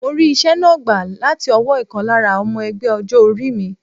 Mo rí ìṣe náà gbà láti ọwọ́ ìkan lára ọmọ ẹgbẹ́ ọjọ́ orí mi.